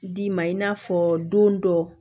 D'i ma i n'a fɔ don dɔ